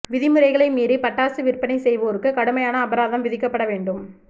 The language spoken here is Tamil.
விதிமுறைகளை மீறி பட்டாசு விற்பனை செய்வோருக்கு கடுமையான அபராதம் விதிக்கப்பட வேண்டும்